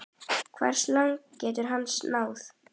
Hversu langt gæti hann náð?